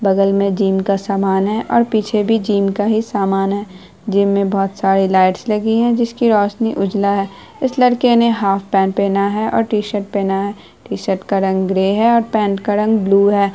बगल मे जिम का सामान है और पीछे भी जिम का ही सामान है जिम मे बहुत सारीं लाइट्स लगी है जिसकी रोशनी उजला है इस लड़के ने हाफ पेन्ट पहना है और टी-शर्ट पहना है टी-शर्ट का रंग ग्रे है और पेन्ट का रंग ब्लू है।